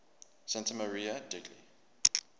santa maria degli